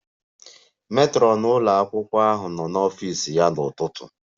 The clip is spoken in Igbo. Matron ụlọ akwụkwọ ahụ nọ n'ọfịs ya n'ụtụtụ a